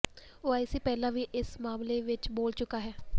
OIC ਪਹਿਲਾਂ ਵੀ ਇਸ ਮਾਮਲੇ ਵਿਚ ਬੋਲ ਚੁੱਕਾ ਹੈ